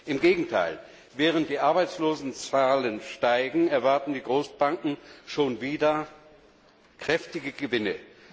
Im Gegenteil, während die Arbeitslosenzahlen steigen, erwarten die Großbanken schon wieder kräftige Gewinne.